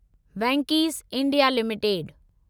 Venky's India limited